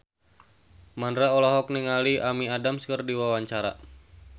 Mandra olohok ningali Amy Adams keur diwawancara